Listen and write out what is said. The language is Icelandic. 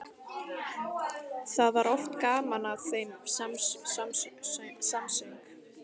Það var oft gaman að þeim samsöng.